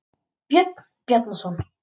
Björn Bjarnarson.